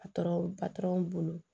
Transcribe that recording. bolo